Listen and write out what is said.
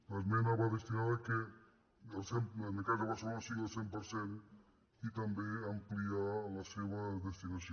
l’esmena va destinada a fer que en el cas de barcelona sigui el cent per cent i també a ampliar la seva destinació